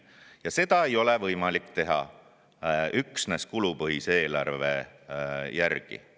Ja seda ei ole võimalik teha üksnes kulupõhise eelarve järgi.